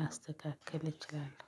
ላስተካክል እችላለሁ።